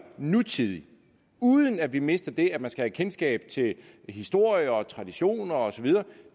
nutidig uden at vi mister det at man skal have kendskab til historie og traditioner og så videre